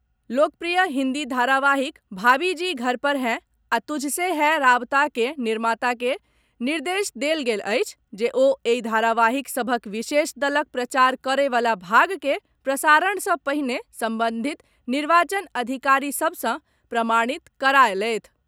लोकप्रिय हिन्दी धारावाहिक भाभीजी घर पर हैं आ तुझसे है राब्ता के निर्माता के निर्देश देल गेल अछि जे ओ एहि धारावाहिक सभक विशेष दलक प्रचार करए वला भाग के प्रसारण सॅ पहिने संबंधित निर्वाचन अधिकारी सभ सॅ प्रमाणित कराए लेथि।